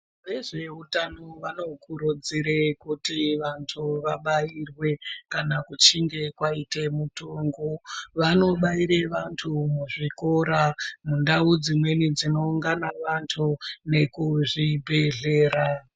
Vezveutano vanokurudzire kuti vantu vabairwe kana kuchinge kwaite mutungu. Vanobaire vantu muzvikora, mundau dzimweni dzinoungana vantu nekuzvibhedhlera.